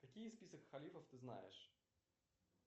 какие список халифов ты знаешь